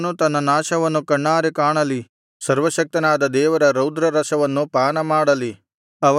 ಅವನು ತನ್ನ ನಾಶವನ್ನು ಕಣ್ಣಾರೆ ಕಾಣಲಿ ಸರ್ವಶಕ್ತನಾದ ದೇವರ ರೌದ್ರರಸವನ್ನು ಪಾನಮಾಡಲಿ